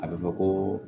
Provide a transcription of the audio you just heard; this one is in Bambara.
A bɛ fɔ ko